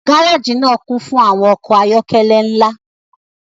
gareji naa kun fun awọn ọkọ ayọkẹlẹ nla